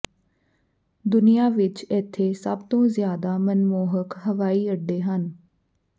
ਦੁਨਿਆਂ ਵਿਚ ਇੱਥੇ ਸਭ ਤੋਂ ਜ਼ਿਆਦਾ ਮਨਮੋਹਕ ਹਵਾਈ ਅੱਡੇ ਹਨ